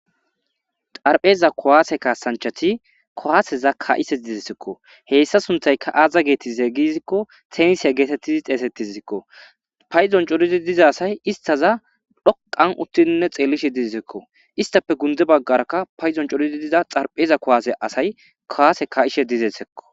Xarpheza kuwasse kaasanchati kuwaaseza ka7ishe dizayssakko. hessa sunththaykka aaza geetetize giikko tensiya geetetizi xeegetideskko . Payduwan coridi diza asay estaza dhoqqan uttidinne xeelishe dizekko. Esttappe gundde bagarakka paydon coridi diza xarpheza kuwasiya asay kuwasse ka7ishe dezezekko.